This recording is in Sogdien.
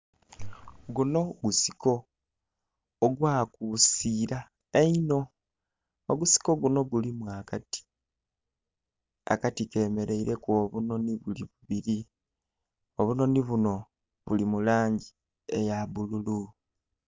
Guno gusiko ogwakusira eino ogusiko guno gulimu akati, akati kemeraireku obunoni bubiri, obunoni buno buli mulangi eya bbululu.